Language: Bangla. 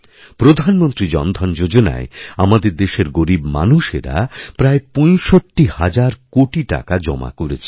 প্রধানমন্ত্রী জনধন যোজনায় আমাদের দেশের গরীব মানুষেরা প্রায় ৬৫ হাজার কোটি টাকাজমা করেছেন